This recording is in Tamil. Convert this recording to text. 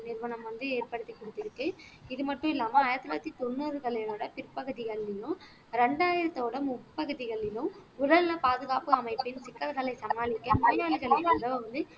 நிறுவனம் வந்து ஏற்படுத்திக் கொடுத்திருக்கு இது மட்டும் இல்லாம ஆயிரத்தி தொள்ளாயிரத்தி தொண்ணூறுகளை விட பிற்பகுதிகள்லயும் இரண்டாயிரத்துயோட முட்பகுதிகளிலும் உடல்நல பாதுகாப்பு அமைப்பின் திட்டங்களை சமாளிக்க மரியாளிகளுக்கு உதவ வந்து